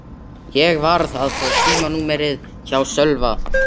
Ég varð að fá símanúmerið hjá Sölva.